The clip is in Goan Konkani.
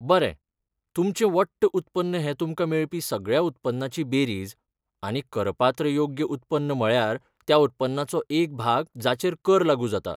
बरें, तुमचें वट्ट उत्पन्न हें तुमकां मेळपी सगळ्या उत्पन्नाची बेरीज आनी करपात्र योग्य उत्पन्न म्हळ्यार त्या उत्पन्नाचो एक भाग जाचेर कर लागू जाता.